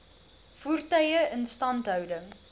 voertuie instandhouding